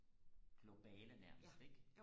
globale nærmest ikke